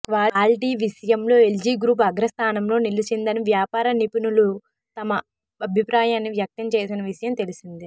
quality విషయంలో LG group అగ్రస్థానంలో నిలిచిందని వ్యాపార నిపుణులు తమ అభిప్రాయాన్ని వ్యక్తం చేసిన విషయం తెలిసిందే